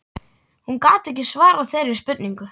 Hún gat ekki svarað þeirri spurningu.